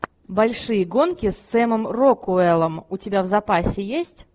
большие гонки с сэмом рокуэллом у тебя в запасе есть